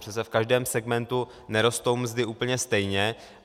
Přece v každém segmentu nerostou mzdy úplně stejně.